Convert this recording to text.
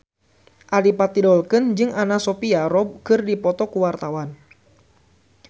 Adipati Dolken jeung Anna Sophia Robb keur dipoto ku wartawan